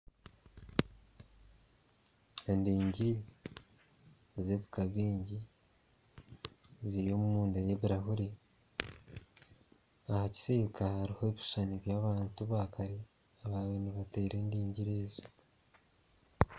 Endigiiri z'ebika baingi ziri omunda y'ebirahuuri aha kisiika hariho ebishuushani by'abantu ba kare ababire nibateera endigiiri ezo.